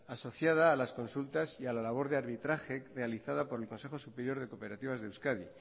asociada a las consultas y a la labor de arbitraje realizada por el consejo superior de cooperativas de euskadi